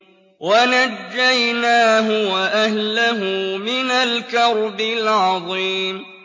وَنَجَّيْنَاهُ وَأَهْلَهُ مِنَ الْكَرْبِ الْعَظِيمِ